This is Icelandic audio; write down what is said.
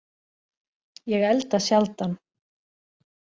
Ég elda sjaldan